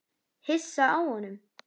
Hissa á honum.